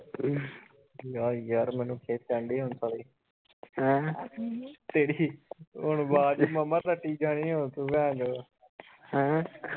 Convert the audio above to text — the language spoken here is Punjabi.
ਜਾ ਯਾਰ ਮੈਨੂੰ ਖਿਜ਼ ਚੜ੍ਹਨ ਦੀ ਹੁਣ ਸਾਲੀ ਤੇਰੀ ਹੁਣ ਆਵਾਜ਼ ਮਾਮਾ ਕਟੀ ਜਾਣੀ ਓ ਹੁਣ ਤੂੰ ਭੈਣਚੋਦ